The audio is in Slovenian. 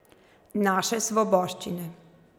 Naše svoboščine.